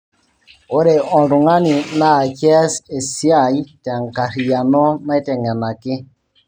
ore oltungani naa kias esia te enkarriyiano nateng'enaki